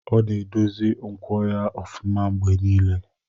Ọ na-edozi nkwọ ya ofuma mgbe niile.